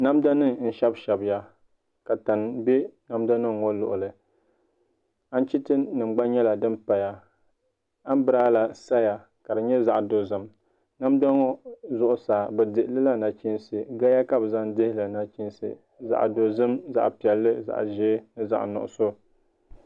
Namda nim n shɛbi shɛbiya ka tani bɛ namda nim ŋɔ luɣuli anchiti nim gba nyɛla din saya ka anbirala saya ka di nyɛ zaɣ dozim namda ŋɔ zuɣusaa bi dihilila nachiinsi gaya ka bi zaŋ dihili nachiinsi zaɣ dozim ni zaɣ piɛlli ni zaɣ nuɣso